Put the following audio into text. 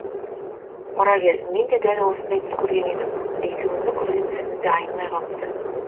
мұрагер менде дәл осындай түс көрген едім екеуміздің көрген түсіміз де айнымай қалыпты